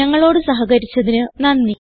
ഞങ്ങളോട് സഹകരിച്ചതിന് നന്ദി